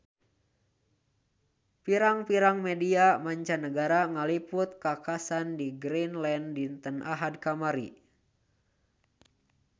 Pirang-pirang media mancanagara ngaliput kakhasan di Greenland dinten Ahad kamari